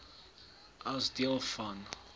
as deel van